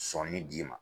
Sɔnni d'i ma